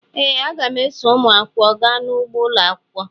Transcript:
ee, aga m eso ụmụ akwụkwọ gaa n’ugbo ụlọ akwụkwọ